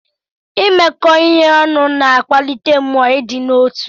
Imekọ ihe ọnụ na-akwalite mmụọ ịdị n'otu.